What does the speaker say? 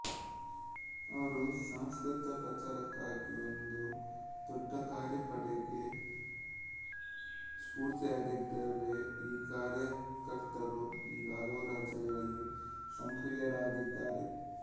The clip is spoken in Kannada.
ಅವರು ಸಂಸ್ಕೃತಪ್ರಚಾರಕ್ಕಾಗಿ ಒಂದು ದೊಡ್ಡ ಕಾರ್ಯಪಡೆಗೇ ಸ್ಫೂರ್ತಿಯಾಗಿದ್ದಾರೆ ಈ ಕಾರ್ಯಕರ್ತರು ಈಗ ಹಲವು ರಾಜ್ಯಗಳಲ್ಲಿ ಸಕ್ರಿಯರಾಗಿದ್ದಾರೆ